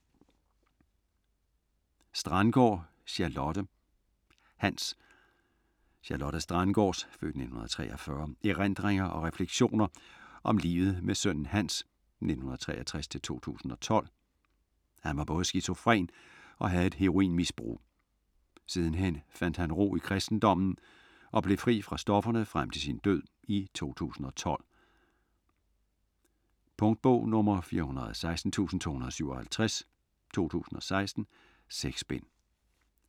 Strandgaard, Charlotte: Hans Charlotte Strandgaards (f. 1943) erindringer og refleksioner om livet med sønnen Hans (1963-2012). Hans var både skizofren og havde et heroinmisbrug. Sidenhen fandt han ro i kristendommen og blev fri fra stofferne frem til sin død i 2012. Punktbog 416257 2016. 6 bind.